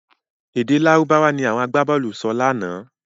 Èdè Lárúbáwá ni àwọn agbábọ̀ọ̀lù sọ lánàá.